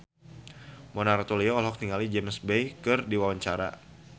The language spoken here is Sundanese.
Mona Ratuliu olohok ningali James Bay keur diwawancara